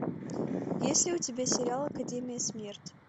есть ли у тебя сериал академия смерти